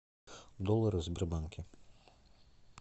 доллары в сбербанке